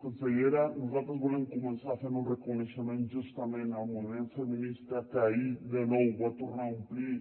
consellera nosaltres volem començar fent un reconeixement justament al moviment feminista que ahir de nou va tornar a omplir